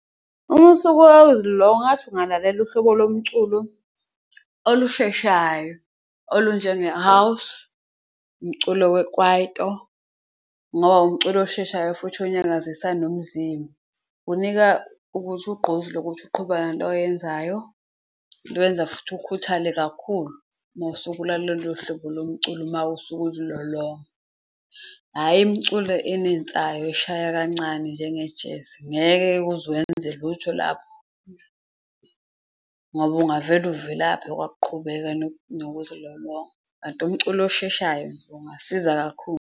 Uma ngathi ungalalela uhlobo lomculo olusheshayo olunjenge-house, umculo we-kwaito ngoba umculo osheshayo futhi onyakazisa nomzimba, unika ukuthi ugqozi lokuthi uqhubeke oyenzayo lwenza futhi ukhuthale kakhulu. Uma usuke ulalele lolo hlobo lomculo mawusuke uzilolonga, hhayi imculo enensayo eshaya kancane njenge-jazz, ngeke-ke uze wenze lutho lapho ngoba ungavele uvelaphe kwakuqhubeka nokuzilolonga. Kanti umculo osheshayo ungasiza kakhulu.